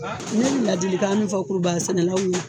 Ne bɛ ladilikan min fɔ kurubaga sɛnɛlaw ye